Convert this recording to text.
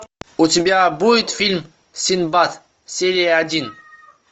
у тебя будет фильм синдбад серия один